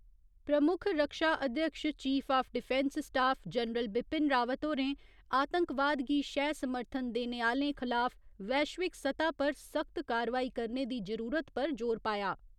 प्रमुख रक्षा अध्यक्ष chief of defence staff general Bipin Rawat होरें आतंकवाद गी शैह् समर्थन देने आह्‌लें खलाफ वैश्विक सतह पर सख्त कार्यवाही करने दी जरूरत पर जोर पाया।